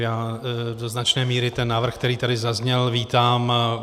Já do značné míry ten návrh, který tady zazněl, vítám.